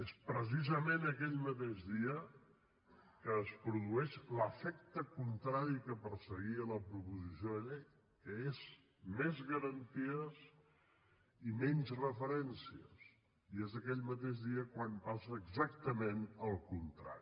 és precisament aquell mateix dia que es produeix l’efecte contrari a allò que perseguia la proposició de llei que són més garanties i menys referències i és aquell mateix dia quan passa exactament el contrari